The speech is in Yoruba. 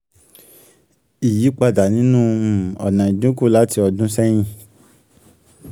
ìyípadà nínú um ọ̀nà ìdínkù láti ọdún sẹ́yìn.